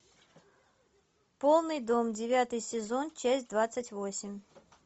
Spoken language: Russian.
полный дом девятый сезон часть двадцать восемь